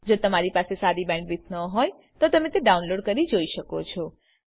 જો તમારી પાસે સારી બેન્ડવિડ્થ ન હોય તો તમે વિડીયો ડાઉનલોડ કરીને જોઈ શકો છો